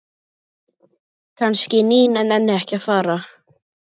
Kannski Nína nenni ekki að fara.